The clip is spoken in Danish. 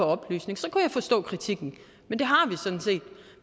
oplysning så kunne jeg forstå kritikken men det